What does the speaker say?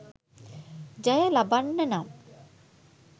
ජය ලබන්න නම්